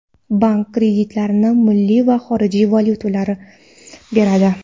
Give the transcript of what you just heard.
Bank kreditlarni milliy va xorijiy valyutada beradi.